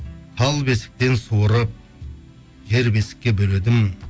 тал бесіктен суырып жер бесікке бөледім